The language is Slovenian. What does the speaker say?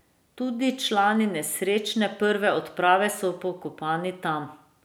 Tudi člani nesrečne prve odprave so pokopani tam.